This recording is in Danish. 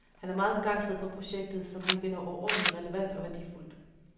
Han er meget begejstret for projektet, som han finder overordentligt relevant og værdifuldt.